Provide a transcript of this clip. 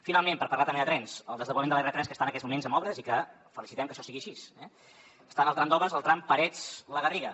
finalment per parlar també de trens el desdoblament de l’r3 que està en aquests moments amb obres i que felicitem que això sigui així eh està en el tram d’obres el tram parets la garriga